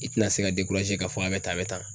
I tɛna se ka k'a fɔ a bɛ tan bɛ a bɛ tan